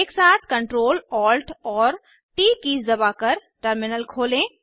एक साथ Ctrl Alt और ट कीज़ दबाकर टर्मिनल खोलें